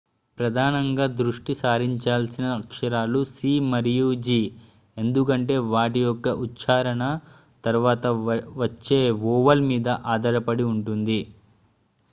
ప్రధానంగా దృష్టి సారించాల్సిన అక్షరాలు c మరియు g ఎందుకంటే వాటి యొక్క ఉచ్ఛారణ తర్వాత వచ్చే వొవెల్ మీద ఆధారపడి ఉంటుంది